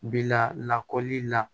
Bila lakɔli la